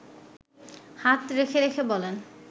হাত রেখে রেখে বলেন